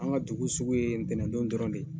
An ka dugu sugu ye ntɛnɛndon dɔrɔn de